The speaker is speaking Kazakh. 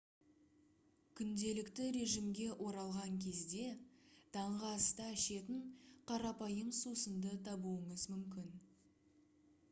күнделікті режимге оралған кезде таңғы аста ішетін қарапайым сусынды табуыңыз мүмкін